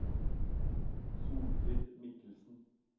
Solfrid Mikkelsen